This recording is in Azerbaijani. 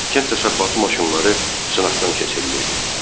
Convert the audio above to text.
Kənd təsərrüfatı maşınları sınaqdan keçirilirdi.